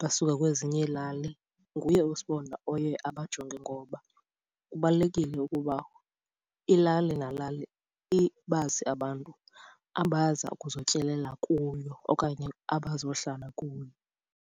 basuka kwezinye iilali, nguye uSibonda oye abajonge ngoba kubalulekile ukuba ilali nalali ibazi abantu abaza ukuzotyelela kuyo okanye abazohlala kuyo.